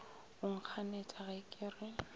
o nkganetša ge ke re